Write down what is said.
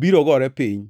biro gore piny.